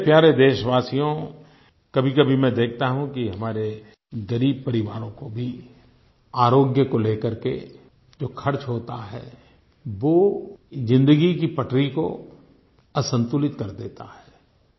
मेरे प्यारे देशवासियो कभीकभी मैं देखता हूँ कि हमारे ग़रीब परिवारों का भी आरोग्य को लेकर के जो खर्च होता है वो जिन्दगी की पटरी को असंतुलित कर देता है